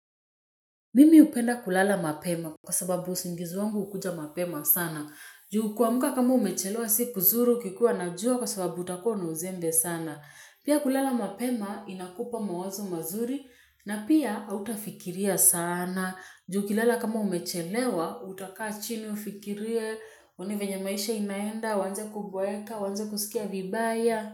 Mimi hupenda kulala mapema kwa sababu usingizi wangu hukuja mapema sana. Ju kuamka kama umechelewa siku kuzuri ukikuwa na jua kwa sababu utakuwa na uzembe sana. Pia kulala mapema inakupa mawazo mazuri na pia autafikiria sana. Ju ukilala kama umechelewa utakaa chini ufikirie. Uone venye maisha inaenda, uanze kuboeka, uanze kusikia vibaya.